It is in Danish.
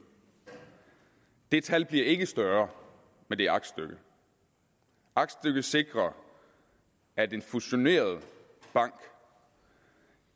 det tal bliver ikke større med det aktstykke aktstykket sikrer at en fusioneret bank